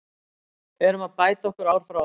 Erum að bæta okkur ári frá ári.